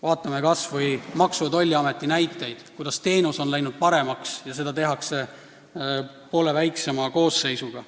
Vaatame kas või Maksu- ja Tolliameti näidet: teenus on läinud paremaks ja seda osutatakse poole väiksema koosseisuga.